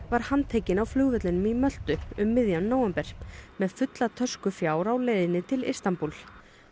var handtekinn á flugvellinum á Möltu um miðjan nóvember með fulla tösku fjár á leið til Istanbúl